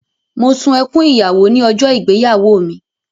Mo sun ẹkún ìyàwó ní ọjọ́ ìgbéyàwó mi.